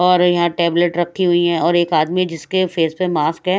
और यहां टैबलेट रखी हुई है और एक आदमी जिसके फेस पे मास्क है।